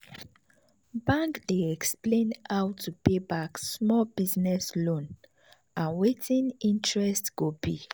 bank dey explain how to pay back small business loan and wetin interest go be.